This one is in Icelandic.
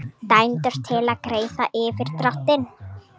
Dæmdur til að greiða yfirdráttinn